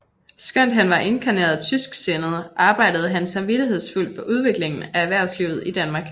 Skønt han var inkarneret tysksindet arbejdede han samvittighedsfuldt for udviklingen af erhvervslivet i Danmark